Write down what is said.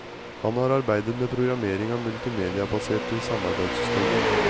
Han har arbeidet med programmering av multimediabaserte samarbeidssystemer.